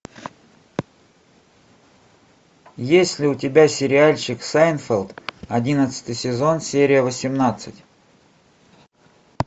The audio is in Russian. есть ли у тебя сериальчик сайнфелд одиннадцатый сезон серия восемнадцать